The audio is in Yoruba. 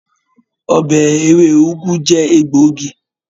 ọbẹ ewe ugu jẹ egbògi.